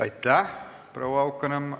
Aitäh, proua Haukanõmm!